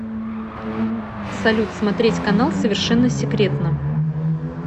салют смотреть канал совершенно секретно